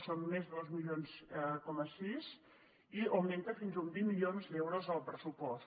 són més de dos coma sis milions i augmenta fins a uns vint milions d’euros al pressupost